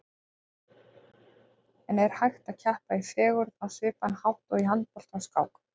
En er hægt að keppa í fegurð á svipaðan hátt og í handbolta eða skák?